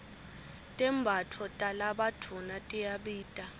tembatfo talabadvuna tiyabita